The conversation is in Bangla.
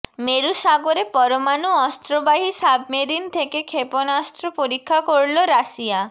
মেরু সাগরে পরমাণু অস্ত্রবাহী সাবমেরিন থেকে ক্ষেপণাস্ত্র পরীক্ষা করল রাশিয়া